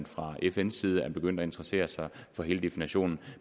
fra fns side begyndt at interessere sig for hele definitionen